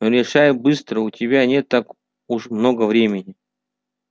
решай быстро у тебя не так уж много времени